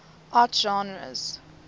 art genres